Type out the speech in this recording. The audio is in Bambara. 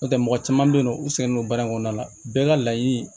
N'o tɛ mɔgɔ caman bɛ yen nɔ u sɛgɛnnen don baara in kɔnɔna la bɛɛ ka laɲini